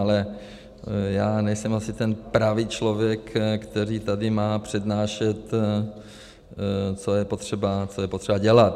Ale já nejsem asi ten pravý člověk, který tady má přednášet, co je potřeba dělat.